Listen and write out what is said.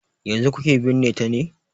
Yanzu kuke binne ta ne?